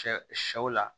Sɛ sɛw la